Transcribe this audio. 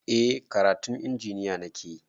Eh karatun injiniya nakeyi